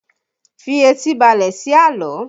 Fi etí balẹ̀ sí àlọ́!